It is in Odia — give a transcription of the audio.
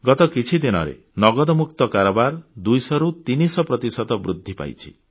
ଗତ କିଛି ଦିନରେ ନଗଦମକ୍ତୁ କାରବାର 200 ରୁ 300 ପ୍ରତିଶତ ବୃଦ୍ଧି ପାଇଛି